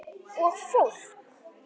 Og fólk!